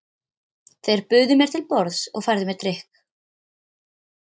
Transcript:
Þeir buðu mér til borðs og færðu mér drykk.